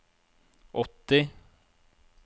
åtti